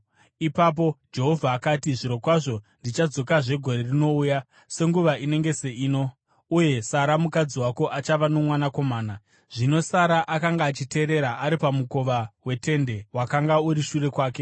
Ipapo Jehovha akati, “Zvirokwazvo ndichadzokazve gore rinouya nenguva inenge seino, uye Sara mukadzi wako achava nomwanakomana.” Zvino Sara akanga achiteerera ari pamukova wetende wakanga uri shure kwake.